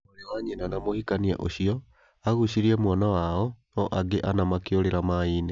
Mwarĩ wa nyina na mũhikania ũcio agucirie mwana wao no angi anna makĩũrĩra mai-inĩ